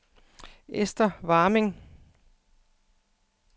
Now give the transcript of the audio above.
Esther Warming